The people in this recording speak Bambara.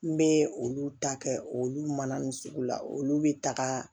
N bɛ olu ta kɛ olu mana nin sugu la olu bɛ taga